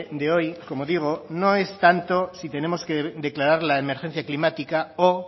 de hoy como digo no es tanto si tenemos que declarar la emergencia climática o